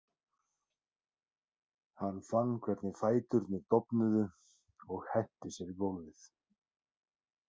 Hann fann hvernig fæturnir dofnuðu og henti sér í gólfið.